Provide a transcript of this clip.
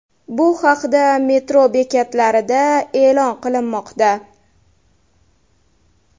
Bu haqda metro bekatlarida e’lon qilinmoqda.